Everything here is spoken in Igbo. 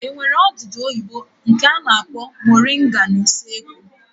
E nwere odudu oyibo nke a na-akpọ moringa n'usekwu?